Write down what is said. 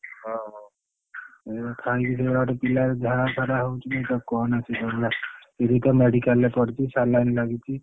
ହଁ ହଉ ଉଁ ଖାଇକି ସେଇଭଳିଆ ଗୋଟେ ପିଲା ଝାଡା ତାରା ହଉଛି ମୁଁ ତାକୁ କହନା ସିଏ ତୋରି ଭଳିଆ ସିଏ ଏଇନା medical ରେ ପଡିଛି saline ଲାଗିଛି।